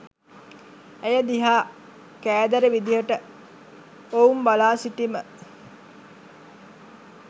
ඇය දිහා කෑදර විදිහට ඔවුන් බලා සිටිම